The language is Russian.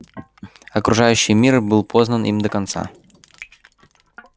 окружающий мир был познан им до конца